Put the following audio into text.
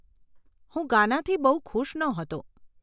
હું ગાનાથી બહુ ખુશ નહોતો.